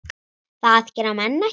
Það gera menn ekki.